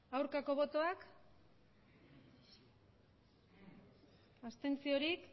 aurkako botoak abstenzioak emandako botoak hirurogeita